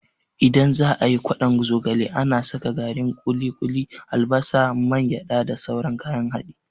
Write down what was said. Idan za'a yi ƙwadon zogale, ana saka garin ƙuli-ƙuli, albasa, man gyada da sauran kayan haɗi.